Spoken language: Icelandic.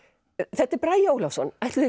þetta er Bragi Ólafsson ætli